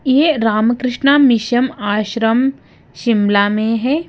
यह रामकृष्णा मिशम आश्रम शिमला में है।